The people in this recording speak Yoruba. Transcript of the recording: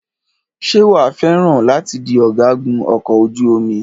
Ṣé wàá fẹ́ràn láti di ọ̀gágun ọkọ̀ ojú omi?